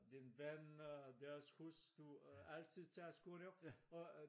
Den ven øh deres hustru øh altid tager skoene af og øh